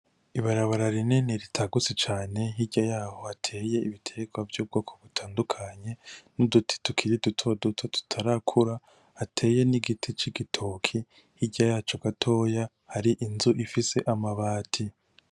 Ibarabara rinini ritagutse cane, hirya yaho hateye ibitegwa vy'ubwoko butandukanye, n'uduti tukiri duto duto tutarakura, hateye n'igiti c'igitoke. Hirya yaco gatoya hari inzu ifise amabati.